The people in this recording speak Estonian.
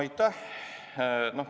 Aitäh!